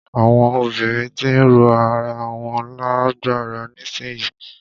Àwọn obìnrin ti ń ró ara wọn lágbára nísìyí.